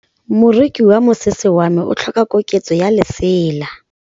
Moroki wa mosese wa me o tlhoka koketsô ya lesela.